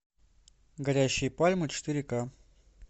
горящие пальмы четыре ка